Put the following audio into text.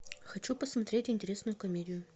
хочу посмотреть интересную комедию